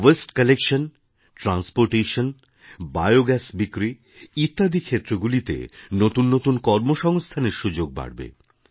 waste collection transportation bio gas বিক্রি ইত্যাদি ক্ষেত্রগুলিতে নতুন নতুন কর্মসংস্থানের সুযোগ বাড়বে